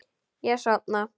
Ég sofna.